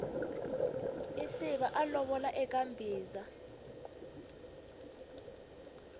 isiva a lovola eka mbhiza